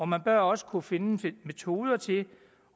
man bør også kunne finde metoder til